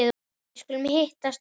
Við skulum hittast oftar